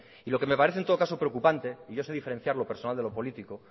y lo que me parece en todo caso preocupante y yo sé diferenciar lo personal de lo político